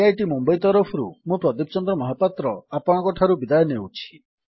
IIT Mumbai ତରଫରୁ ମୁଁ ପ୍ରଦୀପ ଚନ୍ଦ୍ର ମହାପାତ୍ର ଆପଣଙ୍କଠାରୁ ବିଦାୟ ନେଉଛି